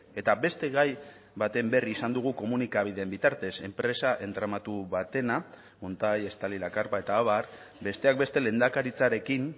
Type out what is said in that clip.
eta beste gai baten berri izan dugu komunikabideen bitartez enpresa entramatu batena montai estali la carpa eta abar besteak beste lehendakaritzarekin